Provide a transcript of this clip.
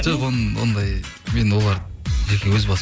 жоқ ондай мен оларды жеке өз басым